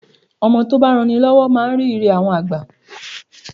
Ọmọ tó bá ń ran ni lọ́wọ́ máa ń rí Ire àwọn àgbà.